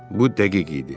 Bu dəqiq idi.